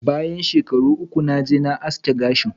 Bayan shekaru uku, naje ma aski gashin.